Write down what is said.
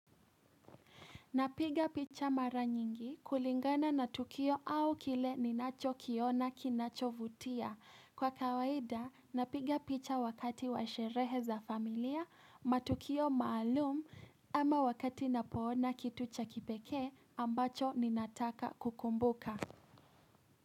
Na piga picha mara nyingi, kulingana na tukio au kile ninacho kiona kinacho vutia. Kwa kawaida, na piga picha wakati wa sherehe za familia, matukio maalum, ama wakati napo na kitucha kipeke, ambacho ni nataka kukumbuka.